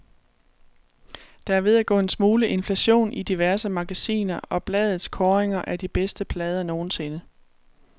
Der er ved at gå en smule inflation i diverse magasiner og blades kåringer af de bedste plader nogensinde.